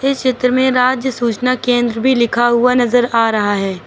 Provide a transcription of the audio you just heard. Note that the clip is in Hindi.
चित्र में राज्य सूचना केंद्र भी लिखा हुआ नजर आ रहा है।